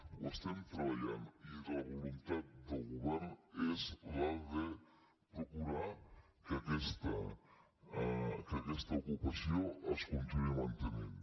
ho estem treballant i la voluntat del govern és la de procurar que aquesta ocupació es continuï mantenint